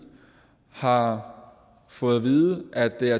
har fået at vide at det er